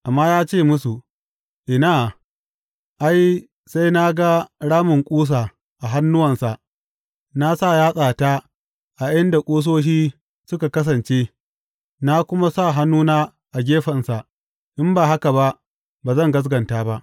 Amma ya ce musu, Ina, ai, sai na ga ramin ƙusa a hannuwansa na sa yatsata a inda ƙusoshi suka kasance, na kuma sa hannuna a gefensa, in ba haka ba, ba zan gaskata ba.